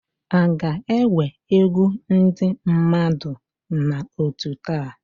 A ga-enwe egwu ndị mmadụ na otú taa?